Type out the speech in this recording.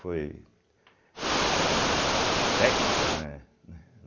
Foi eh técnico, né né?